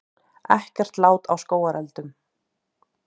Ekkert lát á skógareldunum